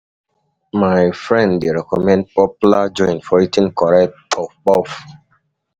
My friend dey recommend popular joint for eating correct puff-puff.